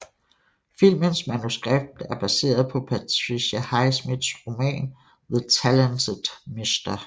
Filmens manuskript er baseret på Patricia Highsmiths roman The Talented Mr